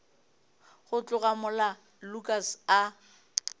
go tloga mola lukas a